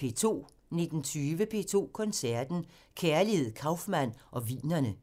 19:20: P2 Koncerten – Kærligheden, Kaufmann og Wienerne